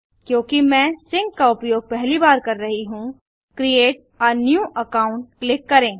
क्योंकि मैं सिंक का उपयोग पहली बार कर रहा हूँ create a new account click करें